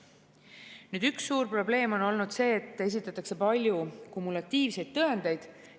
Nüüd, üks suur probleem on olnud see, et esitatakse palju kumulatiivseid tõendeid.